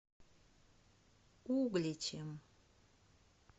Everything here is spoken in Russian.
угличем